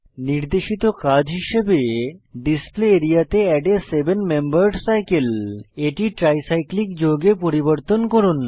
নির্দেশিত কাজ হিসাবে ডিসপ্লে আরিয়া তে add a seven membered cycle এটি ট্রাইসাইক্লিক যৌগে পরিবর্তন করুন